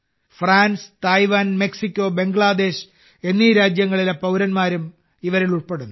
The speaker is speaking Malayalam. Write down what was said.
ഫ്രാൻസ് തായ്വാൻ മെക്സിക്കോ ബംഗ്ലാദേശ് എന്നീ രാജ്യങ്ങളിലെ പൌരന്മാരും ഇവരിൽ ഉൾപ്പെടുന്നു